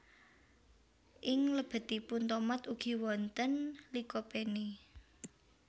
Ing lebetipun tomat ugi wonten Lycopene